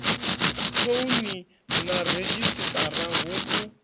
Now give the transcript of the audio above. thouni na redzhisiṱara hu u